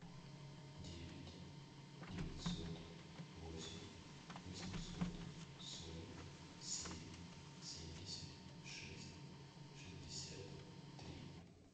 девять девятьсот восемь восемьсот сорок семь семьдесят шесть шестьдесят три